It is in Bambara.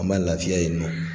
An b'a lafiya yen nɔ.